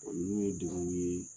Olu ye degunw ye